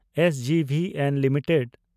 SJVN limited